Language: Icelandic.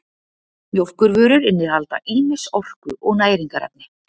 mjólkurvörur innihalda ýmis orku og næringarefni